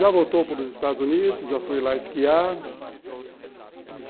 Já voltou para os Estados Unidos, já foi lá esquiar.